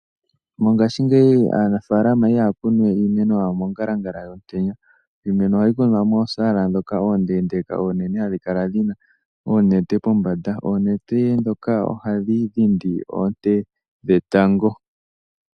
Mongaashingeyi aanafaalama ihaya kunu we iimeno yawo mongalangala yomutenya. Iimeno ohayi kunwa moosala ndhoka oondeendeeka oonene hadhi kala dhina oonete kombanda. Oonete ndhoka ohadhi dhindi oonte dhetango.